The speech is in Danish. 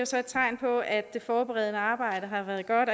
så et tegn på at det forberedende arbejde har været godt